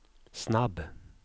snabb